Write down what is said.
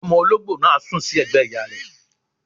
Omo olóńgbò náà sùn sí ẹ̀gbẹ́ ìyá rẹ